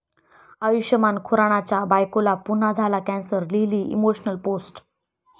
आयुष्मान खुरानाच्या बायकोला पुन्हा झाला कॅन्सर, लिहिली इमोशनल पोस्ट